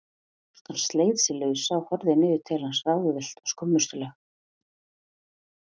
Stúlkan sleit sig lausa og horfði niður til hans ráðvillt og skömmustuleg.